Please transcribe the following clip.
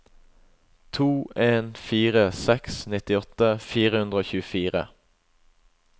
to en fire seks nittiåtte fire hundre og tjuefire